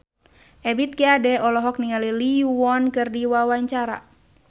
Ebith G. Ade olohok ningali Lee Yo Won keur diwawancara